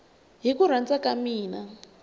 hi ku rhandza ka mina